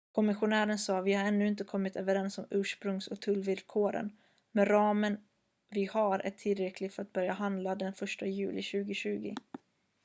"kommissionären sa: "vi har ännu inte kommit överens om ursprungs- och tullvillkoren men ramen vi har är tillräcklig för att börja handla den 1 juli 2020"".